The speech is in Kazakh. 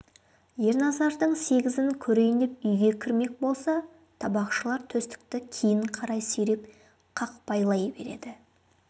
ерназардың сегізін көрейін деп үйге кірмек болса табақшылар төстікті кейін қарай сүйреп қақпайлай береді